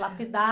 Lapidar.